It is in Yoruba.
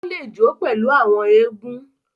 O le jo pèlú àwọn egun.